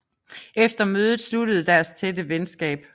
Efter mødet sluttede deres tætte venskab